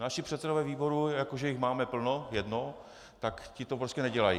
Naši předsedové výborů, jako že jich máme plno - jednoho -, ti to prostě nedělají.